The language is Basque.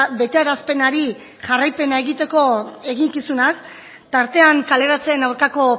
betearazpenari jarraipena egiteko eginkizunaz tartean kaleratzeen aurkako